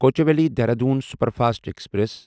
Kochuveli Dehradun superfast express